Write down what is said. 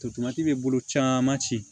Totomati bɛ bolo caman ci